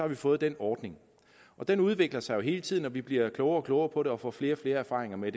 vi fået den ordning og den udvikler sig jo hele tiden og vi bliver klogere og klogere på det og får flere og flere erfaringer med